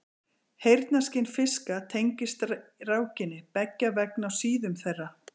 Heyrnarskyn fiska tengist rákinni, beggja vegna á síðum þeirra.